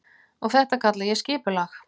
Og þetta kalla ég skipulag.